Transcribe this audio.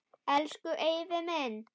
Elsku Eyfi minn.